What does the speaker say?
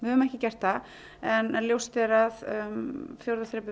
höfum ekki gert það en ljóst er að fjórða þrepið